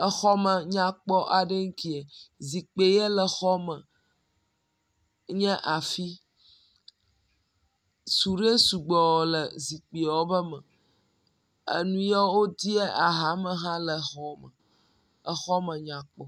Exɔ nyakpɔ aɖee ŋkeɛ. Zikpi ʋe le xɔme. nye afi. Suɖe sugbɔ le zikpiwo ƒe me. Enuyiwo wodeɛ axame hã le zɔme. Exɔme nya kpɔ